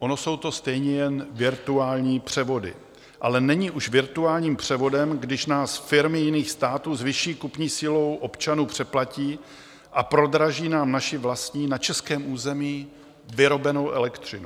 Ono jsou to stejně jen virtuální převody, ale není už virtuálním převodem, když nás firmy jiných států s vyšší kupní silou občanů přeplatí a prodraží nám naši vlastní, na českém území vyrobenou elektřinu.